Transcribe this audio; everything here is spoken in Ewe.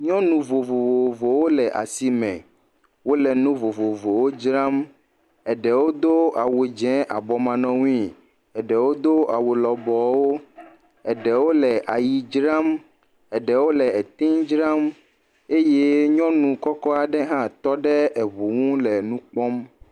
Nyɔnu vovovowo le asi me wole nu vovovowo dzram eɖewo do awu abɔmanɔnui, eɖewo do awu lɔbɔwo eɖewo le ayi dzram eɖewo le etee dzram eye nyɔnu kɔkɔ aɖe hã tɔ ɖe eŋu ʋi aɖe gbɔ le wokpɔm.